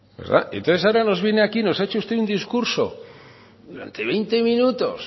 y entonces ahora nos viene aquí nos ha hecho usted un discurso durante veinte minutos